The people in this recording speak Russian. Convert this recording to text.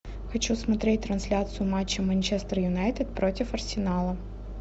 хочу смотреть трансляцию матча манчестер юнайтед против арсенала